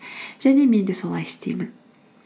және мен де солай істеймін